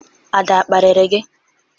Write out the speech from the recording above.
Ada a kparịrị gi?